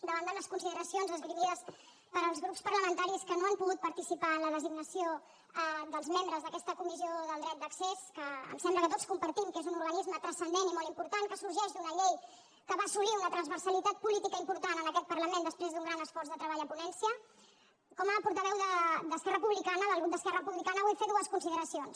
davant de les consideracions esgrimides pels grups parlamentaris que no han pogut participar en la designació dels membres d’aquesta comissió del dret d’accés que em sembla que tots compartim que és un organisme transcendent i molt important que sorgeix d’una llei que va assolir una transversalitat política important en aquest parlament després d’un gran esforç de treball a ponència com a portaveu d’esquerra republicana del grup d’esquerra republicana vull fer dues consideracions